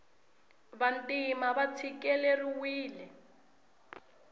vantima va tshikileriwile